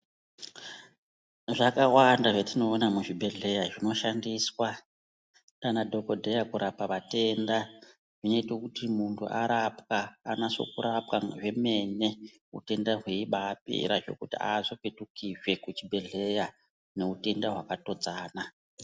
Zvakawanda zvetinoona muzvibhedhleya zvinoshandiswa ndiana dhogodheya kurapa vatenda. Zvinote kuti muntu arapwa anaso kurapwa zvemene utenda hweibapera zvekuti hazopetukizve kuchibhedhleya neutenda hwakatodzana.